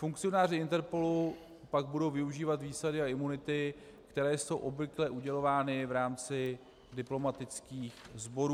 Funkcionáři INTERPOLu pak budou využívat výsady a imunity, které jsou obvykle udělovány v rámci diplomatických sborů.